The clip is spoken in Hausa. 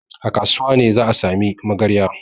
A kasuwa ne za a sami magarya.